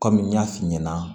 Kɔmi n y'a f'i ɲɛna